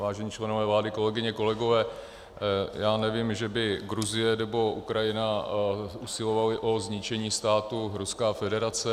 Vážení členové vlády, kolegyně, kolegové, já nevím, že by Gruzie nebo Ukrajina usilovaly o zničení státu Ruská federace.